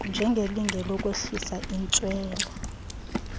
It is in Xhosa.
njengelinge lokwehlisa intswela